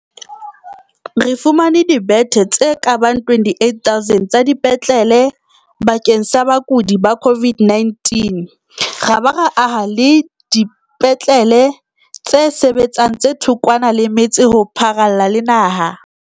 Re fumane dibethe tse ka bang 28 000 tsa dipetlele bakeng sa bakudi ba COVID-19 ra ba ra aha dipetlele tse sebetsang tse thokwana le metse ho pharalla le naha.